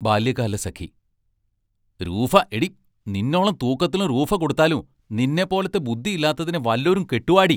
ബാല്യകാലസഖി രൂഫാ എടീ, നിന്നോളം തൂക്കത്തി രൂഫാ കൊടുത്താലും, നിന്നെപ്പോലത്തെ ബുദ്ദില്ലാത്തതിനെ വല്ലോരും കെട്ടുവാടീ?